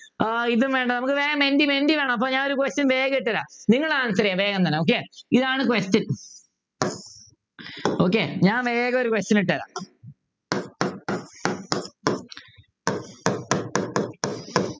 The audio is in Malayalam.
ഏർ ഇതും വേണ്ട നമുക്ക് വേഗം മെൻറ്റി മെൻറ്റി മെൻറ്റി വേണം അപ്പൊ ഞാനൊരു question വേഗം ഇട്ടുതരാം നിങ്ങൾ answr ചെയ്യാ വേഗം തന്നെ okay ഇതാണ് question okay ഞാൻ വേഗം ഒരു question ഇട്ടുതരാം